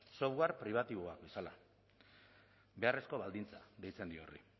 libreak software pribatiboa beharrezko baldintza deitzen dio horri